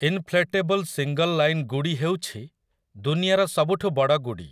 Inflatable single line ଗୁଡ଼ି ହେଉଛି ଦୁନିଆର ସବୁଠୁ ବଡ଼ ଗୁଡ଼ି ।